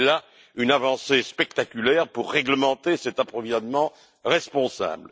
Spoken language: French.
C'était là une avancée spectaculaire pour réglementer cet approvisionnement responsable.